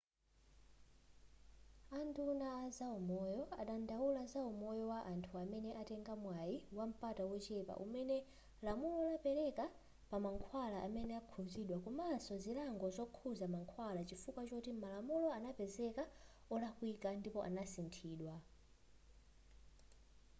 a nduna a zaumoyo adandaula za umoyo wa anthu amene atenga mwai wampata wochepa umene lamulo lapeleka pa mankhwala amene akukhuzidwa komanso zilango zokhuza mankhwala chifukwa choti malamulo anapezeka olakwika ndipo anasinthidwa